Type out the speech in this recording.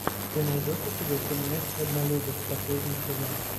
ты найдешь у себя фильмец однолюбы последний сезон